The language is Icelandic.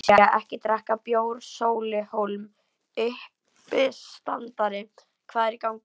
Lexía-ekki drekka bjór Sóli Hólm, uppistandari Hvað er í gangi?